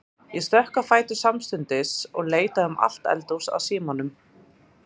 Ég stökk á fætur samstundis og leitaði um allt eldhús að símanum.